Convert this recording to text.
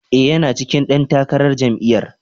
E, yana cikin ɗan takarar jami'yar.